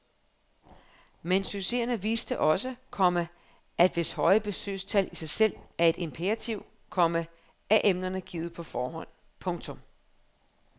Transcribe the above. Men succeserne viste også, komma at hvis høje besøgstal i sig selv er et imperativ, komma er emnerne givet på forhånd. punktum